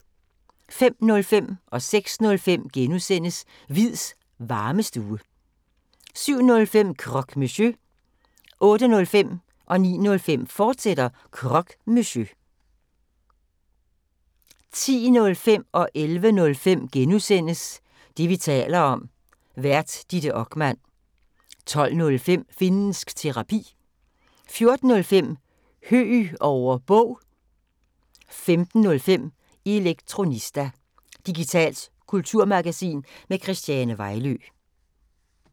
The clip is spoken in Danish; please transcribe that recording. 05:05: Hviids Varmestue * 06:05: Hviids Varmestue * 07:05: Croque Monsieur 08:05: Croque Monsieur, fortsat 09:05: Croque Monsieur, fortsat 10:05: Det, vi taler om. Vært: Ditte Okman * 11:05: Det, vi taler om. Vært: Ditte Okman * 12:05: Finnsk Terapi 14:05: Høeg over Bog 15:05: Elektronista – digitalt kulturmagasin med Christiane Vejlø